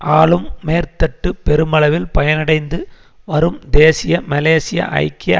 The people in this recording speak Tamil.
ஆளும் மேற்தட்டு பெருமளவில் பயனடைந்து வரும் தேசிய மலேசிய ஐக்கிய